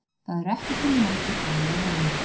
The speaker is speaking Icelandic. Það eru ekki til margir þannig í heiminum.